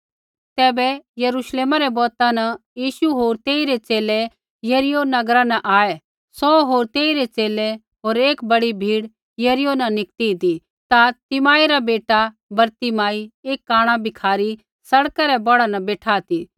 तैबै यरूश्लेमा रै बौता न यीशु होर तेइरै च़ेले यरीहो नगरा न आऐ सौ होर तेइरै च़ेले होर एक बड़ी भीड़ यरीहो न निकती ती ता तिमाई रा बेटा बरतिमाई एक कांणा भिखारी सड़का रै कनारै बेठा ती